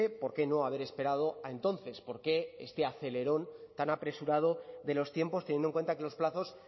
por qué no haber esperado a entonces por qué este acelerón tan apresurado de los tiempos teniendo en cuenta que los plazos